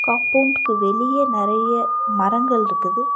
காம்பவுன்ட்கு வெளிய நெறைய மரங்கள்ருக்குது.